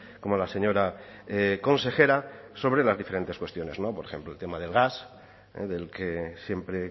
como la señora consejera sobre las diferentes cuestiones por ejemplo el tema del gas del que siempre